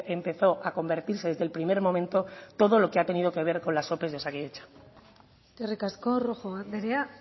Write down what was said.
empezó a convertirse desde el primer momento todo lo que ha tenido que ver con las ope de osakidetza eskerrik asko rojo andrea